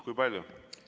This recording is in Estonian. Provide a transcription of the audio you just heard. Kui palju?